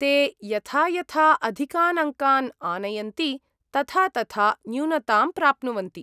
ते यथा यथा अधिकान् अङ्कान् आनयन्ति तथा तथा न्यूनतां प्राप्नुवन्ति।